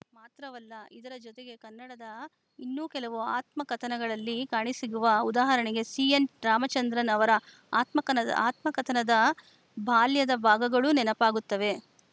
ಮಾತ್ರವಲ್ಲ ಇದರ ಜತೆಗೆ ಕನ್ನಡದ ಇನ್ನೂ ಕೆಲವು ಆತ್ಮಕಥನಗಳಲ್ಲಿ ಕಾಣಸಿಗುವ ಉದಾಹರಣೆಗೆ ಸಿಎನ್‌ ರಾಮಚಂದ್ರನ್‌ ಅವರ ಆತ್ಮಕನ ಆತ್ಮಕಥನದ ಬಾಲ್ಯದ ಭಾಗಗಳು ನೆನಪಾಗುತ್ತವೆ